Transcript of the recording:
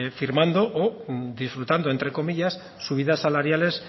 firmando o disfrutando entre comillas subidas salariales